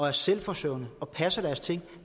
er selvforsørgende passer deres ting og